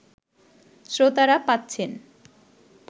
শ্রোতারা পাচ্ছেন